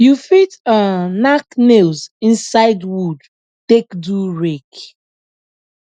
you fit um nack nails inside wood take do rake